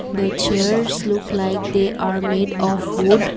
the chairs look like they are made of wood.